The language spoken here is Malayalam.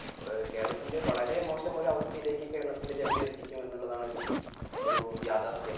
അഹ് കേരളത്തിന്റെ വളരെ മോശം ഒരു അവസ്ഥയിലേക്ക് കേരളത്തിന്റെ ജനതയെ എത്തിക്കും എന്നുള്ളതാണ് ഒരു ഒരു യാഥാർഥ്യം